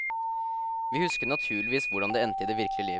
Vi husker naturligvis hvordan det endte i det virkelige liv.